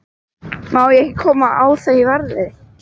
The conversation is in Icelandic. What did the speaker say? Má ég ekki koma á þau verði?